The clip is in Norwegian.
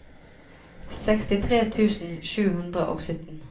sekstitre tusen sju hundre og sytten